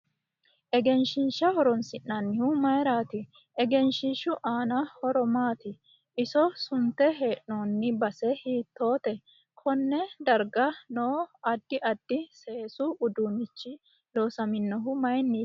Egenshiisha horoonsinanihu mayiirati ehenshiishu aano horo maati iso sunte heenooni base hiitoote konne darga noo addo addi seesu udduunichi loosaminohu mayiiniti